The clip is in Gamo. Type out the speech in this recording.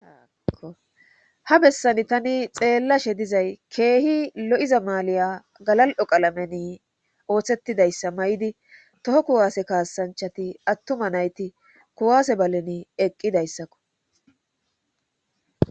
ha bessani tani xeellashe dizay keehi lo7iza maaliya galal7o qalameni ooththettidayssa may7idi toho kuwaase kaasanchati attuma nayti kuwase baleni eqqidayssakko